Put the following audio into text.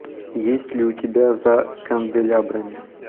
есть ли у тебя за канделябрами